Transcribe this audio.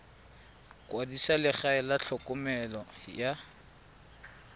kwadisa legae la tlhokomelo ya